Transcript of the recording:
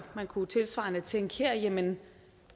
man kunne jo tilsvarende tænke her